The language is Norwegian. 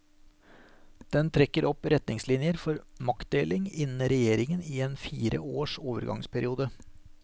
Den trekker opp retningslinjer for maktdeling innen regjeringen i en fire års overgansperiode.